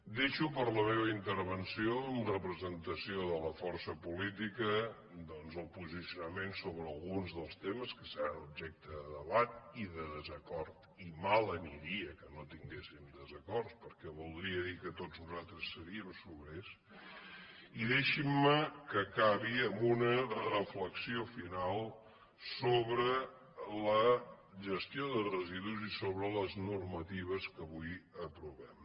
deixo per a la meva intervenció en representació de la força política doncs el posicionament sobre alguns dels temes que seran objecte de debat i de desacord i mal aniria que no tinguéssim desacords perquè voldria dir que tots nosaltres seríem sobrers i deixin·me que acabi amb una reflexió final sobre la gestió de residus i sobre les normatives que avui aprovem